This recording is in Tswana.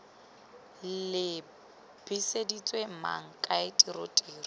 lebiseditswe mang kae tiro tiro